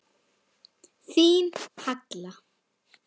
Þín, Halla.